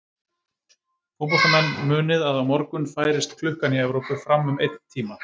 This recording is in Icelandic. Fótboltaáhugamenn munið að á morgun færist klukkan í Evrópu fram um einn tíma.